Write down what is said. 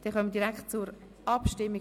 Damit kommen wir direkt zur Abstimmung: